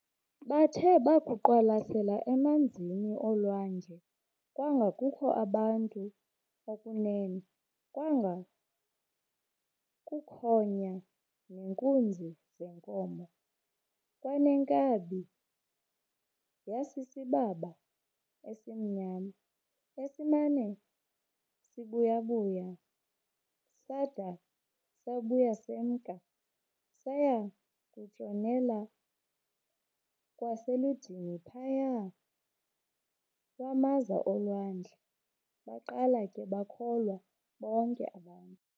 Bathe bakuqwalasela emanzin'olwandle, kwanga kukho abantu okunene, kwanga kukhonya neenkunzi zeenkomo, kwaneenkabi, yasisibaba esimnyama esimana sibuyabuya sada sabuya semka, saya kutshonela kwaselundini phaya lwamaza olwandle, baqala ke bakholwa bonke abantu.